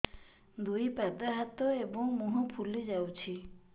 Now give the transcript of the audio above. ଦୁଇ ପାଦ ହାତ ଏବଂ ମୁହଁ ଫୁଲି ଯାଉଛି